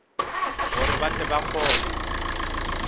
gore ba tle ba kgone